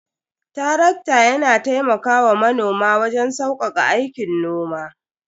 Tarakta yana taimakawa manoma waje saukaka aikin noma.